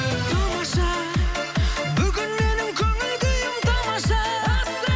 тамаша бүгін менің көңіл күйім тамаша